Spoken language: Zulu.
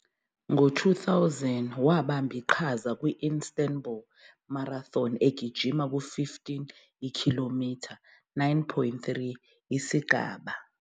Ngo-2000, wabamba iqhaza kwi- Istanbul Marathon, egijima ku- 15 I-km, 9.3 mi, isigaba.